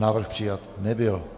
Návrh přijat nebyl.